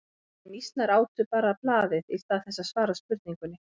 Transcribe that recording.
En mýsnar átu bara blaðið í stað þess að svara spurningunni.